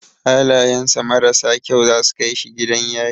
Halayan sa mararsa kyau zasu kai shi gidan yari